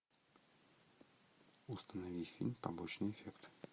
установи фильм побочный эффект